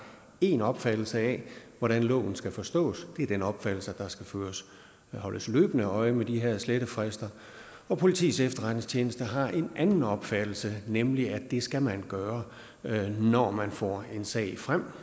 én opfattelse af hvordan loven skal forstås det er den opfattelse at der skal holdes løbende øje med de her slettefrister og politiets efterretningstjeneste har en anden opfattelse nemlig at det skal man gøre når man får en sag frem